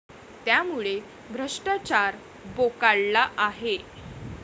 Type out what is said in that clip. त्यामुळे भ्रष्टाचार बोकाळला आहे.